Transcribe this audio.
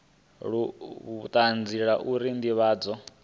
la vhutanzi la uri ndivhadzo